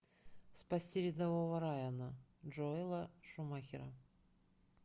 спасти рядового райана джоэла шумахера